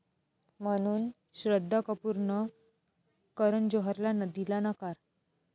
...म्हणून श्रद्धा कपूरनं करण जोहरला दिला नकार